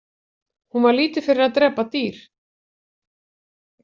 Hún var lítið fyrir að drepa á dyr.